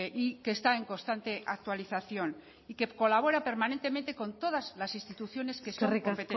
y que está en constante actualización y que colabora permanentemente con todas las instituciones que son competentes eskerrik asko